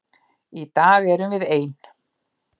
Í dag erum við ein.